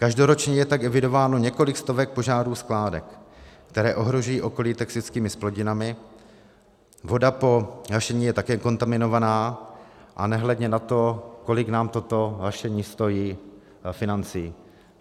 Každoročně je tak evidováno několik stovek požárů skládek, které ohrožují okolí toxickými zplodinami, voda po hašení je také kontaminovaná, a nehledě na to, kolik nás toto hašení stojí financí.